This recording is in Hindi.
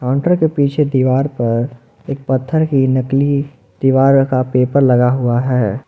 काउंटर के पीछे दीवार पर एक पत्थर की नकली दीवार का पेपर लगा हुआ है।